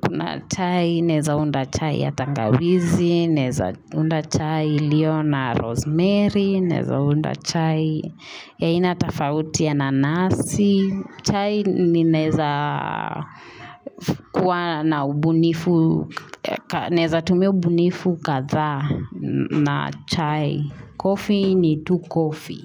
kuna chai. Naeza unda chai ya tangawizi. Naeza unda chai lio na rosemary. Naeza unda chai ya inatafautia ya nanasi. Chai ni naeza kua na ubunifu. Naeza tumia ubunifu katha na chai. Coffee ni tu coffee.